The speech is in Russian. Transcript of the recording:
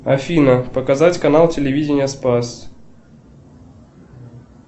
афина показать канал телевидения спас